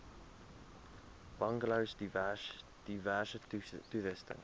bungalows diverse toerusting